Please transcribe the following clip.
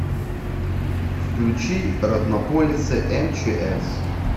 включи роднополисы мчс